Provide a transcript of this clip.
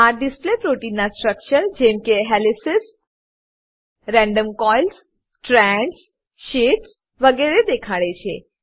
આ display protein ના structure જેમકે helices random coils strands sheets વગેરે દેખાડે છે